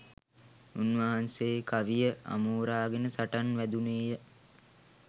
උන්වහන්සේ කවිය අමෝරාගෙන සටන් වැදුණේ ය.